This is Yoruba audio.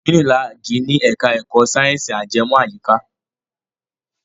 Unilag ni ẹ̀ka ẹ̀kọ́ sáyẹ̀nsì ajẹmọ́ àyíká.